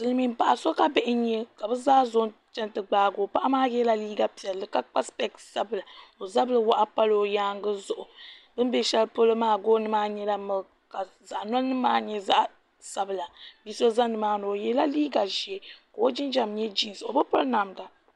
Silimiin paɣa ka bihi nya ka bɛ zaa zonchan n ti gbaako paɣi maa yɛla yiiga piɛli ka kpa sipeesi sabinli ka o zabiri waɣi palo yaangu zuɣu bin bɛ shɛli polo maa nyɛla miliki ka saɣnomnim maa nyɛ sabila bi so za nimaani o yɛla liiga ʒee ka o jinjam nyɛ jinsi o bi piri namda